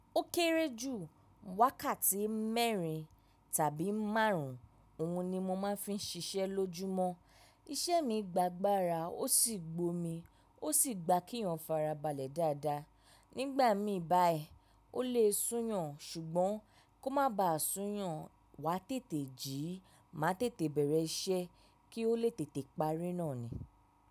Ó kéré jù wákàtí mẹ́rin tàbí márùn-ún, òhun ni mo máa ń fi ń ṣiṣẹ́ lójúmọ́. Iṣẹ́ mi gba gba ara ó sì gbó mi, ó sì gba kí èyàn farabalẹ̀ dáadáa. Nígbà mí báyìí ó le sún yàn ṣùgbọ́n kó má ba sún yàn wá tètè jíì, má tètè bẹ̀rẹ̀ iṣẹ́ kí ó lè tètè parí náà ni.